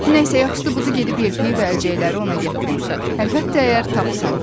Nə isə yaxşısı budur gedib yelpiki və əlcəkləri ona gətirim, əlbəttə əgər tapsam.